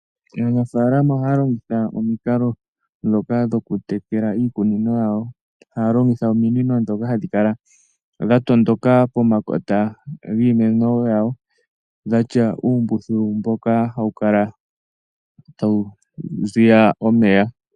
Aanafaalama oha ya longitha omukalo gominino ndhoka dha tondoka pomakota giimeno yawo, dha tya uumbululu mboka hawu kala tawu ziya omeya.